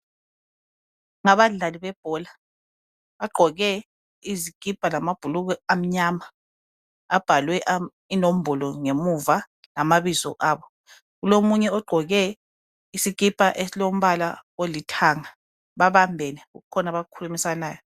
Ngabadlali bebhola bagqoke izikipa lamabhulugwe amnyama abhalwe inombolo ngemuva lamabizo abo. Kulomunye ogqoke isikipa esilombala olithanga babambene kukhona abakukhulumisanayo.